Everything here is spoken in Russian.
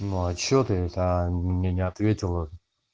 ну а что ты это мне не ответила